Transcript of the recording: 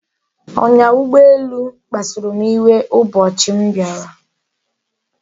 Onya ugboelu kpasuru m iwu ubochi m biara